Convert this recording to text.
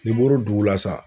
N'i bɔr'o dugu la san.